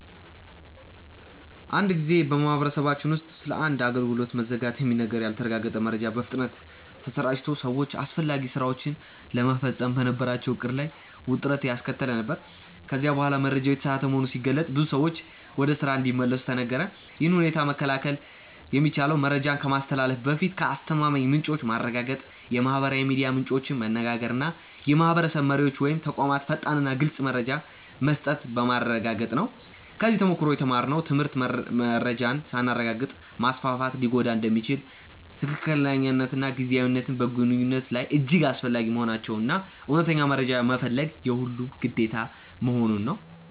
አንድ ጊዜ በማህበረሰባችን ውስጥ ስለ አንድ አገልግሎት መዘጋት የሚነገር ያልተረጋገጠ መረጃ በፍጥነት ተሰራጭቶ ሰዎች አስፈላጊ ሥራቸውን ለመፈጸም በነበራቸው ዕቅድ ላይ ውጥረት ያስከተለ ነበር፤ ከዚያ በኋላ መረጃው የተሳሳተ መሆኑ ሲገለጥ ብዙ ሰዎች ወደ ስራ እንዲመለሱ ተነገረ። ይህን ሁኔታ መከላከል የሚቻለው መረጃን ከማስተላለፍ በፊት ከአስተማማኝ ምንጮች ማረጋገጥ፣ የማህበራዊ ሚዲያ ምንጮችን መነጋገር እና የማህበረሰብ መሪዎች ወይም ተቋማት ፈጣንና ግልፅ መረጃ መስጠት በማረጋገጥ ነበር። ከዚህ ተሞክሮ የተማርነው ትምህርት መረጃን ሳናረጋግጥ ማስፋፋት ሊጎዳ እንደሚችል፣ ትክክለኛነትና ጊዜያዊነት በግንኙነት ላይ እጅግ አስፈላጊ መሆናቸውን እና እውነተኛ መረጃ መፈለግ የሁሉም ግዴታ መሆኑን ነው።